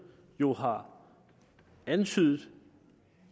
jo har antydet